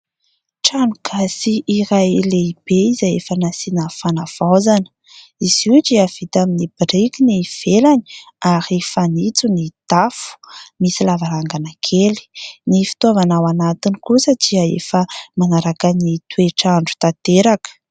Tranogasy iray lehibe izay efa nasiana fanavaozana .Izy io dia trano vita amin'ny biriky ny ivelany ary fanitso ny tafo, misy lavarangana kely. Ny fitaovana ao anatiny kosa dia efa manaraka ny toetrandro tanteraka .